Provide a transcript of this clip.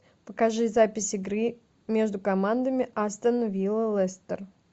покажи запись игры между командами астон вилла лестер